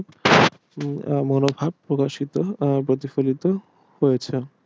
মনোভাব প্রকাশিত প্রতিফলিত হয়েছে